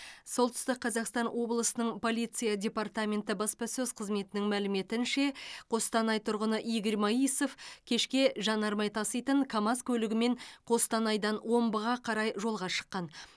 солтүстік қазақстан облысының полиция департаменті баспасөз қызметінің мәліметінше қостанай тұрғыны игорь моисов кешке жанармай таситын камаз көлігімен қостанайдан омбыға қарай жолға шыққан